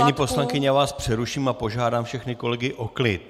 Paní poslankyně, já vás přeruším a požádám všechny kolegy o klid.